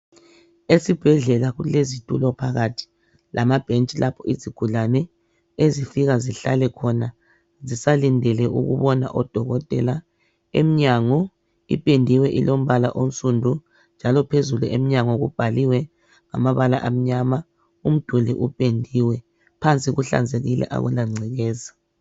Esibhedlela kulezitulo phakathi lamabhentshi lapho izigulane ezifika zihlale khona zisalindele ukubona odokotela. Emnyango ipendiwe ilombala onsundu njalo phezulu emnyango kubhaliwe ngamabala amnyama umduli upendiwe phansi kuhlanzekile akula ncekeza.